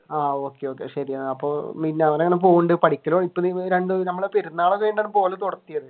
ആഹ് okay okay ശരി അപ്പൊ പെരുന്നാൾ കഴിഞ്ഞിട്ടാണ് പോവൽ തുടങ്ങിയത്